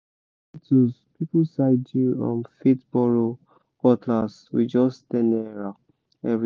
tools people side you um fit borrow cutlass with just ten naira every